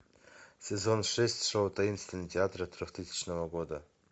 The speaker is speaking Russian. сезон шесть шоу таинственный театр трехтысячного года